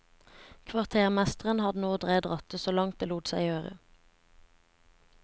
Kvartermesteren hadde nå dreid rattet så langt det lot seg gjøre.